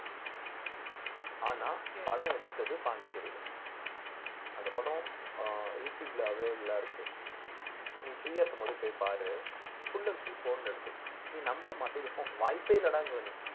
ஆனா படம் எடுத்தது பாண்டிச்சேரியில அந்த படம் அஹ் யூடுயூப்ல available ஆ இருக்கு நீ free ஆ இருக்கும்போது போய் பாரு full and full phone ல எடுத்து நீ நம்ப மாட்ட இது pho~ வாய்ப்பே இல்லடாங்குவ நீ